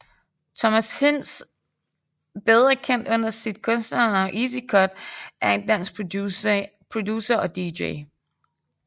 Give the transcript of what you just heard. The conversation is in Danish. Thomas Hinz bedre kendt under sit kunstnernavn Ezi Cut er en dansk producer og Dj